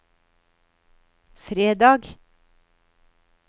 fredag